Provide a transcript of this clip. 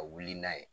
Ka wuli n'a ye